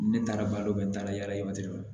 Ne taara balo kɛ n taara yala yala